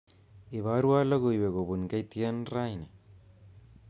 Iborwa logoiwek kobun K.T.N raini